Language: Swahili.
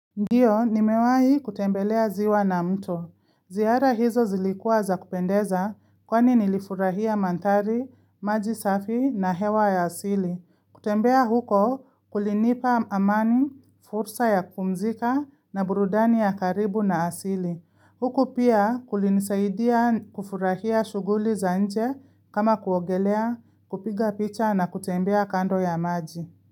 Ndio, nimewahi kutembelea ziwa na mto. Zihara hizo zilikua za kupendeza, kwani nilifurahia mandhari, maji safi na hewa ya asili. Kutembea huko kulinipa amani, fursa ya kumzika na burudani ya karibu na asili. Huko pia kulinisaidia kufurahia shughuli za nje kama kuogelea, kupiga picha na kutembea kando ya maji.